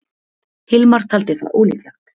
Hilmar taldi það ólíklegt.